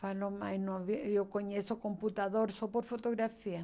Falou, mãe, não ve eu conheço computador só por fotografia.